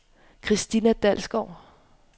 Kristina Dalsgaard